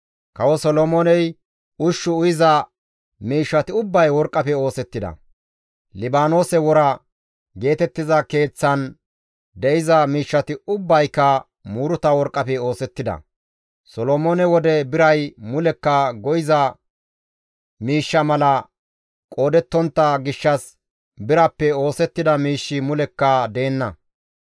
Kawo Solomooney isttan ushshu uyiza miishshati ubbay worqqafe oosettida; «Libaanoose Wora» geetettiza Keeththan de7iza miishshati ubbayka muuruta worqqafe oosettida. Solomoone wode biray mulekka go7iza miishsha mala qoodettontta gishshas birappe oosettida miishshi mulekka deenna.